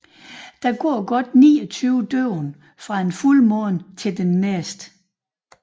Der går godt 29 døgn fra en fuldmåne til den næste